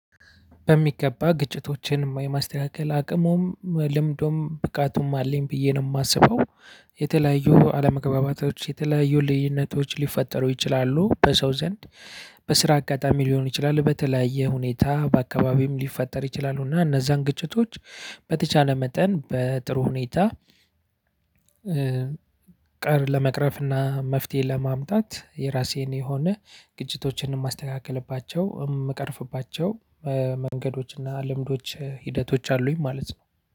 በሚገባ ግጭቶችን የማስተካከል አቅሙም ልምዱም ብቃቱም አለኝ ብዬ ነው የማስበው። የተለያዩ አለመገባባቶች የተለያዩ ልዩነቶች ሊፈጠሩ ይችላሉ በሰው ዘንድ። በስራ አጋጣሚ ሊሆን ይችላል በተለያየ ሁኔታ በአካባቢም ሊፈጠር ይችላሉ እና እነዛን ግጭቶች በተቻለ መጠን በጥሩ ሁነታ ቀር ለመቅረፍ እና መፍትሄ ለማምጣት የራሴን የሆነ ግጭቶችንም የማስተካክልባቸው የምቀርፍባቸው መንገዶችና ልምዶች ሂደቶች አሉኝ ማለት ነው።